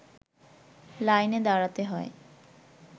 লাইনে দাঁড়াতে হয়